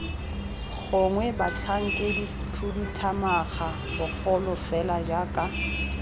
gongwe batlhankedikhuduthamaga bagolo fela jaaka